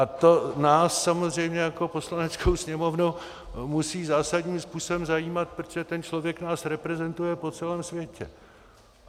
A to nás samozřejmě jako Poslaneckou sněmovnu musí zásadním způsobem zajímat, protože ten člověk nás reprezentuje po celém světě.